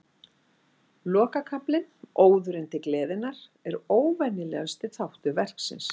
Lokakaflinn, Óðurinn til gleðinnar, er óvenjulegasti þáttur verksins.